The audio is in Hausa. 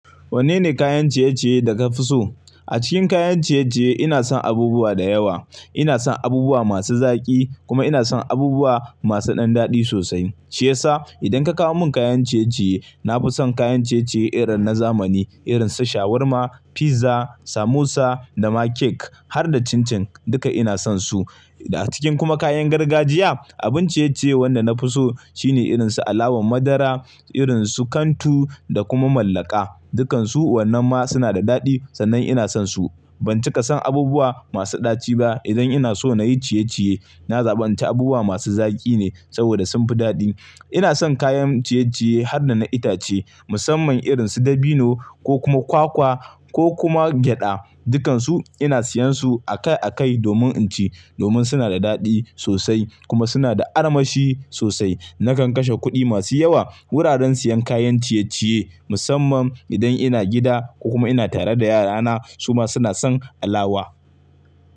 Wanne ne kayan ciye-ciye da kafi so? A cikin kayan ciye-ciye ina son abubuwa da yawa. Ina son abubuwa masu zaki kuma ina son abubuwa masu ɗan daɗi sosai. Shiyasa idan ka kawo mun kayan ciye-ciye, nafi son kayan ciye-ciye irin na zamani, irin su shawarma, pizza, samosa, dama cake har da chin chin, duka ina son su. A cikin kuma kayan gargajiya, abun ciye-ciye wanda nafi so shine irin su alawan madara, irin su kantu da kuma mallaka, dukansu wannan ma suna da daɗi sannan ina son su. Ban cika son abubuwa masu ɗaci ba. Idan ina so nayi ciye-ciye, na zaba in ci abubuwa masu zaki ne saboda sunfi daɗi. Ina son kayan ciye-ciye har da na itace musamman irin su dabino ko kuma kwakwa ko kuma gyaɗa, dukansu ina siyan su akai-akai domin inci domin suna da daɗi sosai kuma suna da armashi sosai. Nakan kashe kuɗi masu yawa wuraren siyan kayan ciye-ciye musamman idan ina gida ko kuma ina tare da yarana su ma suna son alawa.